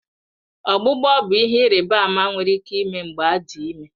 Ọgbụgbọ bụ ihe ịrịba ama nwere ike ime mgbe adị ime